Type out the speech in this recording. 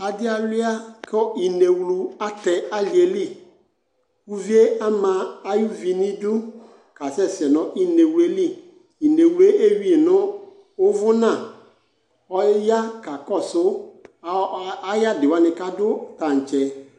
Adɩ alʋɩa kʋ inewlu atɛ alɩ yɛ li Uvi yɛ ama ayuvi nʋ idu kasɛsɛ nʋ inewlu yɛ li Inewlu yɛ eyui yɩ nʋ ʋvʋna Ɔya kakɔsʋ ɔ ɔ ayʋ adɩ wanɩ kʋ adʋ tantse